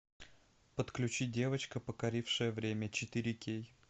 подключи девочка покорившая время четыре кей